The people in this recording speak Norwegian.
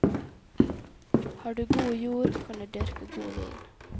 Har du god jord, kan du dyrke god vin.